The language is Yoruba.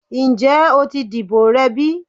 Njẹ o ti dibo rẹ bi?